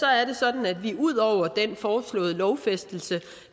er det sådan at vi ud over den foreslåede lovfæstelse